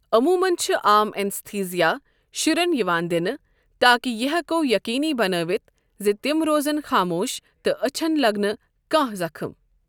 عٔموٗمَن چھِ عام اینستھیزیا شُرٮ۪ن یِوان دِنہٕ تاکہِ یہِ ہٮ۪کو یقیٖنی بنٲوِتھ زِ تِم رۄزن خاموش تہٕ ٲچھن لَگہِ نہٕ کانٛہہ زخم۔